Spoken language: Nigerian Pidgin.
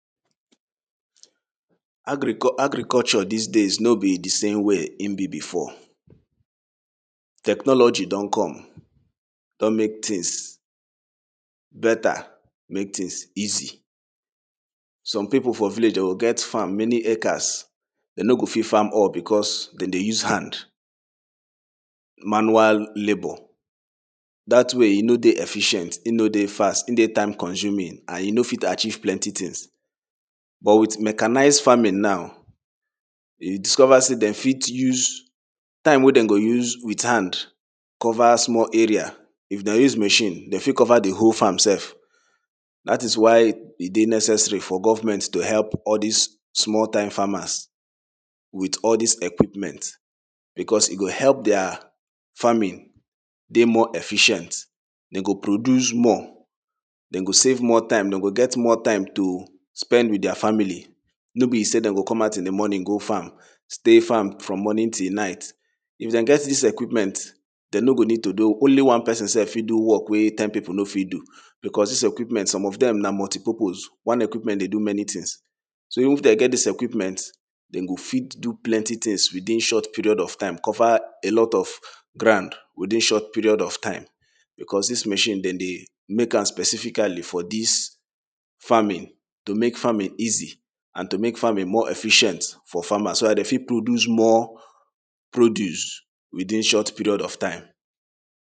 agricu agriculture dis days no be de same way him be before technology don come don make tings beta make tings easy some pipu for village dey go get farm many acres dem no go fit farm all because den dey use hand manual labour dat way e no dey efficient him no dey fast him dey time consuming and you no fit achieve plenti tings but wit mechanized farming now e discover sey dem fit use time wey dem go use wit hand cover small area if dem use machine dey fit cover de whole farm sef dat is why e dey necessary for government to help all dis small time farmers with all dis equipment because e go help dia farming dey more efficient dey go produce more dem go save more time dem go get more time to spend wit dia family no be sey dey go come out in de morning stay farm from morning till night if dem get dis equipment dem no go need to do only one person sef fit do work wey ten pipu no fit do because dis equipment some of dem na multipurpose one equipment dey do many tings so if dey get dis equipment dem go fit do plenti tings within short period of time cover a lot of ground within short period of time because dis machine dem dey make am specifically for dis farming to make farmimg easy and to make farming more effiicient for farmers so dat dey fit produce more produce within short period of time